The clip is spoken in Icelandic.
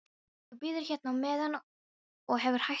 Þú bíður hérna á meðan og hefur hægt um þig.